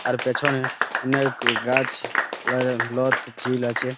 আর পেছনে অনেক গাছ লাগায় লত ঝিল আছে ।